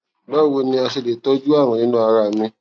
bawo ni a ṣe le tọju arun ninu ara mi